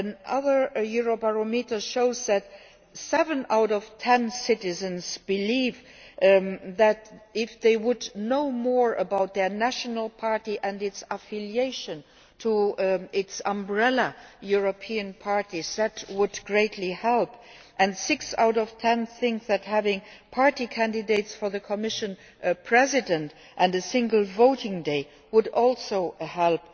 Other Eurobarometers show that seven out of ten citizens believe that if they knew more about their national party and its affiliation to its umbrella European parties, that would greatly help, and six out of ten think that having party candidates for the Commission President and a single voting day would also help